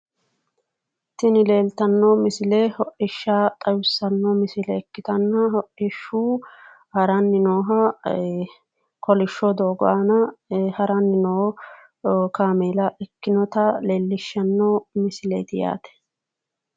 Tini leeltanno misile hodhishsha xawissanno misile ikkitanna hodhihshu haranni nooha kolishsho doogo aana haranni noo kaameela ikkinota leellishshanno misileeti yaate.